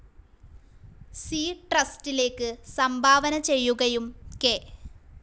C ട്രസ്റ്റിലേക്ക് സംഭാവന ചെയ്യുകയും കെ.